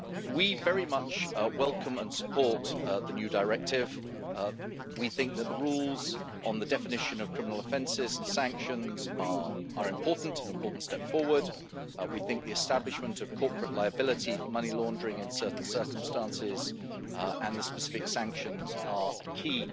We very much welcome and support the new directive. We think that the rules on the definition of criminal offences and sanctions are an important step forward. We think the establishment of corporate liability for money laundering in certain circumstances and the specific sanctions are a